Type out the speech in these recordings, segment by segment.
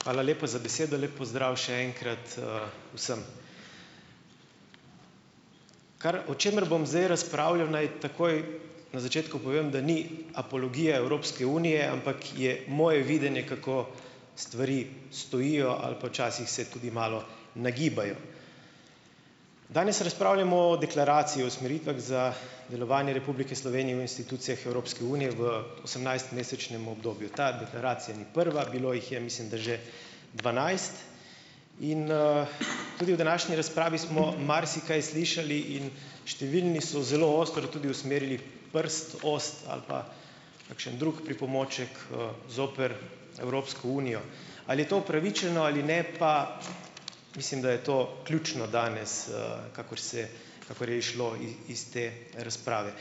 Hvala lepa za besedo, lep pozdrav še enkrat, vsem! Kar, o čemer bom zdaj razpravljal, naj takoj na začetku povem, da ni apologija Evropske unije, ampak je moje videnje, kako stvari stojijo ali pa včasih se tudi malo nagibajo. Danes razpravljamo o deklaraciji o usmeritvah za delovanje Republike Slovenije v institucijah Evropske unije v osemnajst mesečnem obdobju. Ta deklaracija ni prva, bilo jih je mislim, da že dvanajst in, tudi v današnji razpravi smo marsikaj slišali in številni so zelo ostro tudi usmerili prst, kosti ali pa kakšen drug pripomoček, zoper Evropsko unijo. Ali je to upravičeno ali ne, pa mislim, da je to ključno danes, kakor se, kakor je izšlo iz te razprave.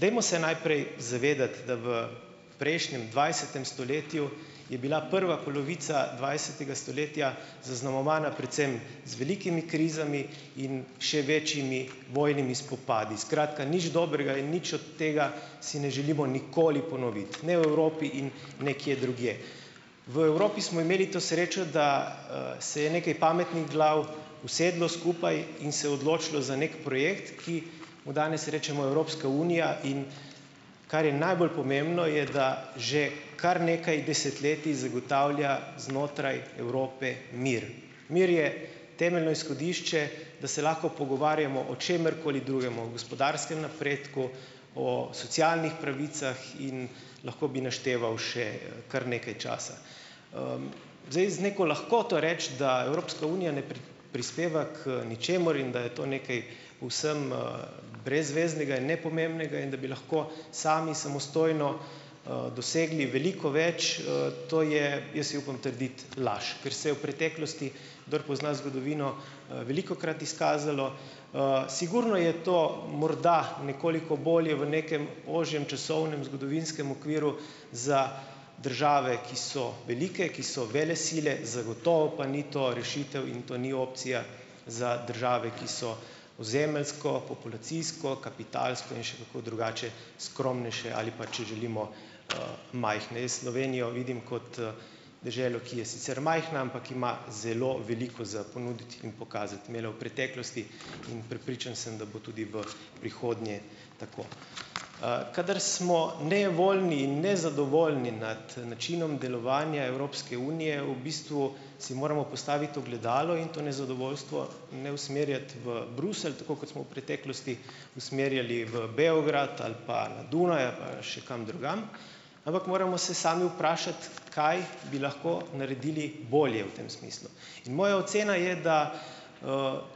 Dajmo se najprej zavedati, da v prejšnjem, dvajsetem stoletju je bila prva polovica dvajsetega stoletja zaznamovana predvsem z velikimi krizami in še večjimi vojnimi spopadi. Skratka, nič dobrega in nič od tega si ne želimo nikoli ponoviti, ne v Evropi in nekje drugje. V Evropi smo imeli to srečo, da, se je nekaj pametnih glav usedlo skupaj in se odločilo za neki projekt, ki mu danes rečemo Evropska unija, in kar je najbolj pomembno je, da že kar nekaj desetletij zagotavlja znotraj Evrope mir. Mir je temeljno izhodišče, da se lahko pogovarjamo o čemerkoli drugem, o gospodarskem napredku, o socialnih pravicah in lahko bi našteval še, kar nekaj časa. Zdaj z neko lahkoto reči, da Evropska unija prispeva k ničemur in da je to nekaj povsem, brezveznega in nepomembnega in da bi lahko sami samostojno, dosegli veliko več, to je, jaz si upam trditi, laž, ker se je v preteklosti, kdor pozna zgodovino, velikokrat izkazalo. Sigurno je to morda nekoliko bolje v nekem ožjem časovnem zgodovinskem okviru za države, ki so velike, ki so velesile, zagotovo pa ni to rešitev in to ni opcija za države, ki so ozemeljsko, populacijsko, kapitalsko in še kako drugače skromnejše ali pa, če želimo, majhne. Jaz Slovenijo vidim kot, deželo, ki je sicer majhna, ampak ima zelo veliko za ponuditi in pokazati, imela v preteklosti in prepričan sem, da bo tudi v prihodnje tako. Kadar smo nevoljni in nezadovoljni nad načinom delovanja Evropske unije, v bistvu si moramo postaviti ogledalo in to nezadovoljstvo ne usmerjati v Bruselj, tako kot smo v preteklosti usmerjali v Beograd ali pa na Dunaj ali pa še kam drugam, ampak moramo se sami vprašati, kaj bi lahko naredili bolje v tem smislu. In moja ocena je, da,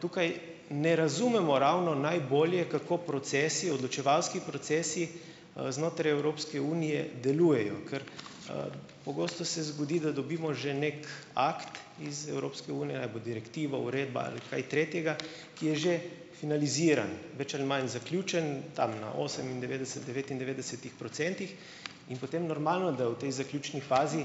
tukaj ne razumemo ravno najbolje, kako procesi, odločevalski procesi, znotraj Evropske unije delujejo, ker, pogosto se zgodi, da dobimo že neki akt iz Evropske unije, a bo direktiva, uredba ali kaj tretjega, ki je že finaliziran, več ali manj zaključen, tam na osemindevetdeset, devetindevetdesetih procentih in potem normalno, da v tej zaključni fazi,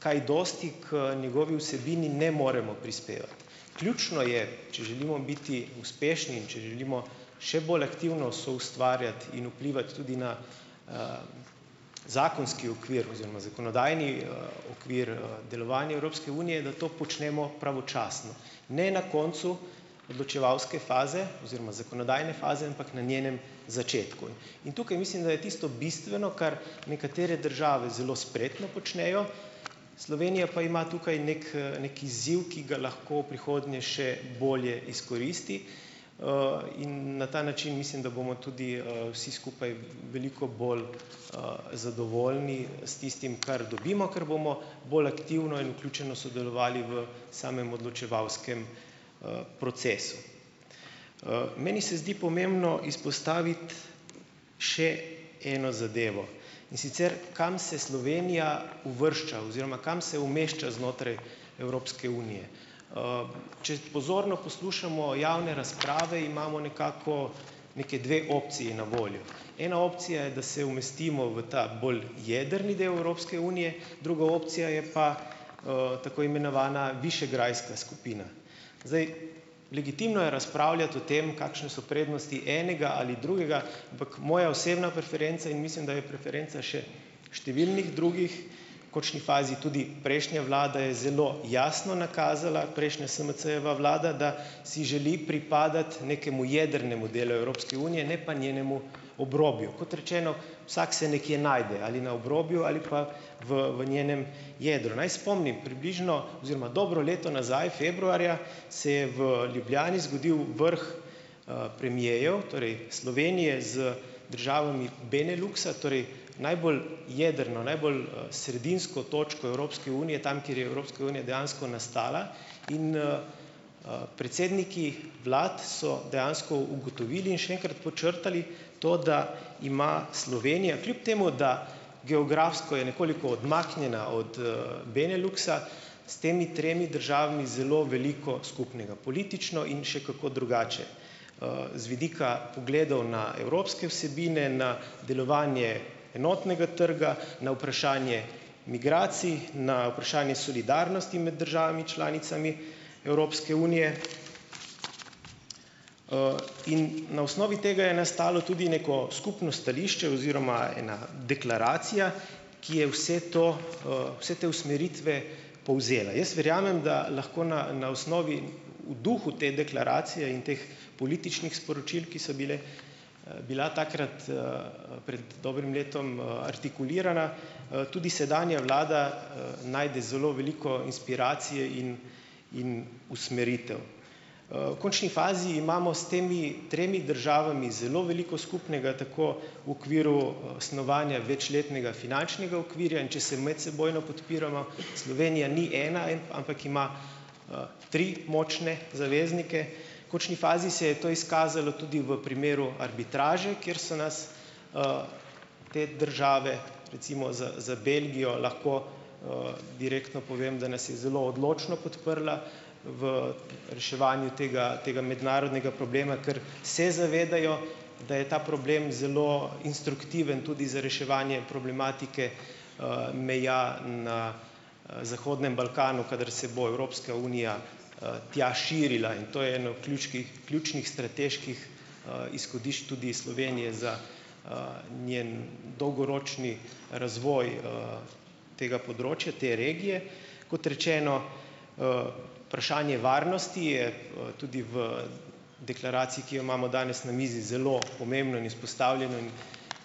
kaj dosti k njegovi vsebini ne moremo prispevati. Ključno je, če želimo biti uspešni in če želimo še bolj aktivno soustvarjati in vplivati tudi na, zakonski okvir oziroma zakonodajni, okvir, delovanja Evropske unije, da to počnemo pravočasno, ne na koncu odločevalske faze oziroma zakonodajne faze, ampak na njenem začetku. In tukaj mislim, da je tisto bistveno, kar nekatere države zelo spretno počnejo, Slovenija pa ima tukaj neki, neki izziv, ki ga lahko v prihodnje še bolje izkoristi. In na ta način mislim, da bomo tudi, vsi skupaj veliko bolj, zadovoljni s tistim, kar dobimo, ker bomo bolj aktivno in vključeno sodelovali v samem odločevalskem, procesu. meni se zdi pomembno izpostaviti še eno zadevo, in sicer, kam se Slovenija uvršča oziroma kam se umešča znotraj Evropske unije. če pozorno poslušamo javne razprave , imamo nekako neke dve opciji na voljo. Ena opcija je, da se umestimo v ta, bolj jedrni del Evropske unije, druga opcija je pa, tako imenovana višegrajska skupina. Zdaj, legitimno je razpravljati o tem, kakšne so prednosti enega ali drugega, ampak moja osebna preferenca in mislim, da je preferenca še številnih drugih , v kočni fazi tudi prejšnje vlade, je zelo jasno nakazala prejšnja SMC-jeva vlada, da si želi pripadati nekemu jedrnemu delu Evropske unije , ne pa njenemu obrobju. Kot rečeno, vsak se nekje najde, ali na obrobju ali pa v, v njenem jedru. Naj spomnim, približno oziroma dobro leto nazaj, februarja se je v Ljubljani zgodil vrh, premierjev, torej Slovenije z državami Beneluksa, torej najbolj jedrno, najbolj, sredinsko točko Evropske unije, tam, kjer je Evropska unija dejansko nastala. In, predsedniki vlad so dejansko ugotovili in še enkrat podčrtali to, da ima Slovenija kljub temu, da geografsko je nekoliko odmaknjena od, Beneluksa, s temi tremi državami zelo veliko skupnega, politično in še kako drugače, z vidika pogledov na evropske vsebine, na delovanje enotnega trga, na vprašanje migracij, na vprašanje solidarnosti med državami članicami Evropske unije. in na osnovi tega je nastalo tudi neko skupno stališče oziroma ena deklaracija, ki je vse to, vse te usmeritve povzela. Jaz verjamem, da lahko na na osnovi, v duhu te deklaracije in teh političnih sporočil, ki so bile, bila takrat, pred dobrim letom, artikulirana, tudi sedanja vlada, najde zelo veliko inspiracije in in usmeritev. v kočni fazi imamo s temi tremi državami zelo veliko skupnega tako v okviru, snovanja večletnega finančnega okvirja. In če se medsebojno podpiramo , Slovenija ni ena, ampak ima, tri močne zaveznike. V kočni fazi se je to izkazalo tudi v primeru arbitraže, kjer so nas, te države recimo z, za Belgijo lahko, direktno povem, da nas je zelo odločno podprla v reševanju tega, tega mednarodnega problema, ker se zavedajo, da je ta problem zelo instruktiven tudi za reševanje problematike, meja, na, zahodnem Balkanu, kadar se bo Evropska unija, tja širila in to je eno klučkih ključnih strateških, izhodišč tudi Slovenije za, njen dolgoročni razvoj, tega področja te regije. Kot rečeno, varnosti je, tudi v deklaraciji, ki jo imamo danes na mizi, zelo pomembno in izpostavljeno in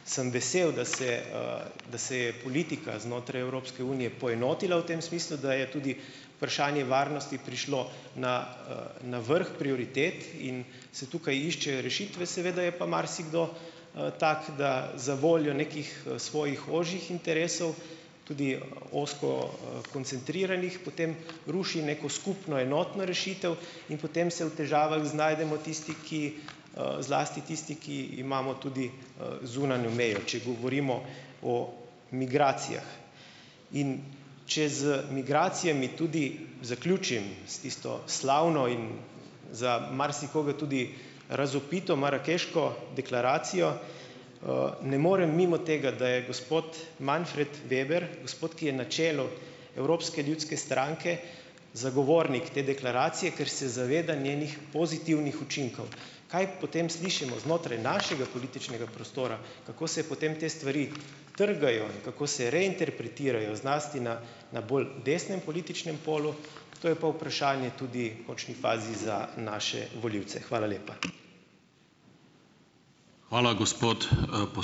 sem vesel, da se, da se je politika znotraj Evropske unije poenotila v tem smislu, da je tudi varnosti prišlo na, na vrh prioritet in se tukaj iščejo rešitve. Seveda je pa marsikdo, tak, da za voljo nekih, svojih ožjih interesov tudi ozko, koncentriranih, potem ruši neko skupno enotno rešitev in potem se v težavah znajdemo tisti, ki, zlasti tisti, ki imamo tudi, zunanjo mejo, če govorimo o migracijah. In če z migracijami tudi zaključim, s tisto slavno in za marsikoga tudi razvpito marakeško deklaracijo. ne morem mimo tega, da je gospod Manfred Weber, gospod, ki je na čelu Evropske ljudske stranke, zagovornik te deklaracije, ker se zaveda njenih pozitivnih učinkov. Kaj potem slišimo znotraj našega političnega prostora, kako se potem te stvari trgajo in kako se reinterpretirajo zlasti na na bolj desnem političnem polju, to je pa vprašanje tudi v končni fazi za naše volivce. Hvala lepa . Hvala gospod, ...